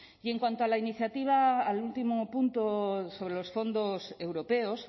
y en cuanto a la iniciativa al último punto sobre los fondos europeos